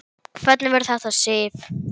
Hvernig verður þetta, Sif?